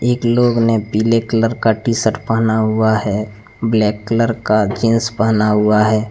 एक लोग ने पीले कलर का टी शर्ट पहना हुआ है ब्लैक कलर का जींस पहना हुआ है।